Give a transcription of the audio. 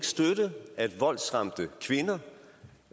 støtte at voldsramte kvinder